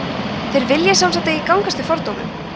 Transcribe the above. þeir vilja sem sagt ekki gangast við fordómum